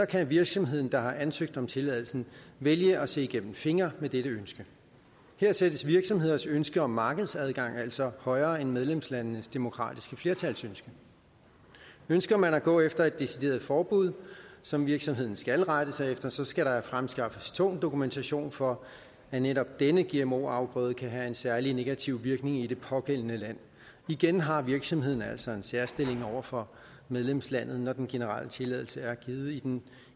kan virksomheden der har ansøgt om tilladelsen vælge at se igennem fingre med dette ønske her sættes virksomheders ønske om markedsadgang altså højere end medlemslandenes demokratiske flertals ønske ønsker man at gå efter et decideret forbud som virksomheden skal rette sig efter så skal der fremskaffes tung dokumentation for at netop denne gmo afgrøde kan have en særlig negativ virkning i det pågældende land igen har virksomheden altså en særstilling over for medlemslandet når den generelle tilladelse er givet i den